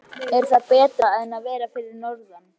Er það betra en að vera fyrir norðan?